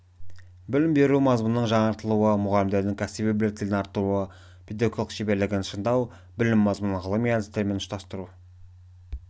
білім беру мазмұнының жаңартылуы мұғалімдердің кәсіби біліктілігін арттыру педагогикалық шеберлігін шыңдау білім мазмұнын ғылыми әдістермен ұштастыру